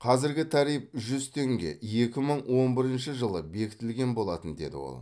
қазіргі тариф жүз теңге екі мың он бірінші жылы бекітілген болатын деді ол